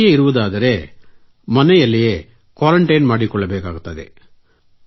ಮನೆಯಲ್ಲಿಯೇ ಇರುವುದಾದರೆ ಮನೆಯಲ್ಲೇ ಕ್ವಾರೆಂಟೈನ್ ಮಾಡಿಕೊಳ್ಳಬೇಕಾಗುತ್ತದೆ